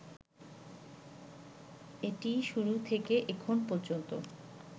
এটি শুরু থেকে এখন পর্যন্ত